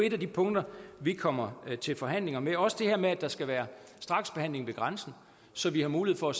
et af de punkter vi kommer til forhandlinger med det gælder også det her med at der skal være straksbehandling ved grænsen så vi har mulighed for